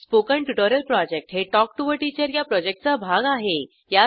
spoken tutorial project हे talk to teacher या प्रॉजेक्टचा भाग आहे